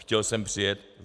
Chtěl sem přijet.